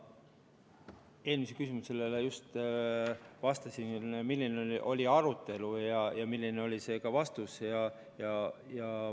Ma eelmisele küsimusele just vastasin, milline oli arutelu ja milline oli see vastus.